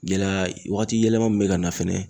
Gɛlɛya waati yɛlɛma min bɛ ka na fɛnɛ